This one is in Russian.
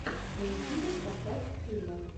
на ютюбе поставь фильмы